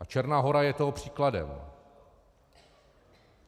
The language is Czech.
A Černá Hora je toho příkladem.